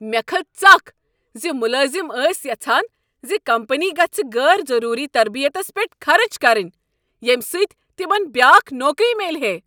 مےٚ کھژ ژکھ ز ملٲزم ٲسۍ یژھان زِ کمپنی گژھ غٲر ضروٗری تربیتس پیٹھ خرچ کرٕنۍ ییٚمہِ سۭتۍ تمن بیٛاكھ نوکری میلہِ ہے۔